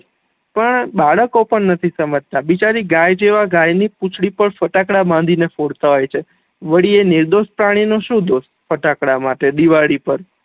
પણ બાળકો પણ નથી સમજતા બિચારી ગાય જેવા ગાય ની પૂછડી પણ ફટાકળા બાંધી ને ફોડ તા હોય છે વળી એ નિર્દોષ પ્રાણી નો શું દોષ ફટાકળા માટે દિવાળી પર